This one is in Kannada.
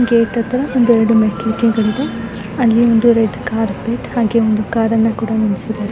ಗೇಟ್ ಹತ್ರ ಒಂದು ಎರಡು ಮೆಟ್ಟಲೇಕೆಗಳಿದೆ. ಅಲ್ಲಿ ಒಂದು ರೆಡ್ ಕಾರ್ಪೆಟ್ ಹಾಗೆ ಒಂದು ಕಾರ್ ಅನ್ನ ಕೂಡ ನಿಲ್ಲಸಿದ್ದಾರೆ.